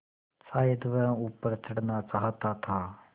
शायद वह ऊपर चढ़ना चाहता था